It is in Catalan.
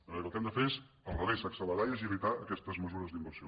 de manera que el que hem de fer és al revés accelerar i agilitar aquestes mesures d’inversió